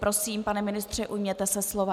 Prosím, pane ministře, ujměte se slova.